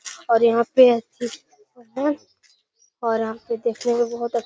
और यहाँ पे और यहां पे देखने मे बहोत अच्छ --